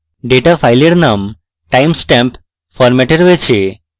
data file name time stamp ফরম্যাটে রয়েছে